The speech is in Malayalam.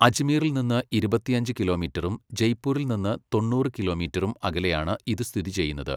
അജ്മീറിൽ നിന്ന് ഇരുപത്തിയഞ്ച് കിലോമീറ്ററും, ജയ്പൂരിൽ നിന്ന് തൊണ്ണൂറ് കിലോമീറ്ററും, അകലെയാണ് ഇത് സ്ഥിതിചെയ്യുന്നത്.